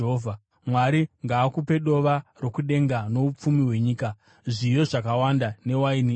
Mwari ngaakupe dova rokudenga noupfumi hwenyika, zviyo zvakawanda newaini itsva.